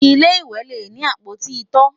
ilé ìwé lè ní apoti ito